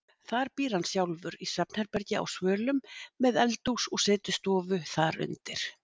Þar býr hann sjálfur í svefnherbergi á svölum, með eldhús og setustofu þar undir.